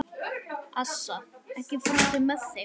Assa, ekki fórstu með þeim?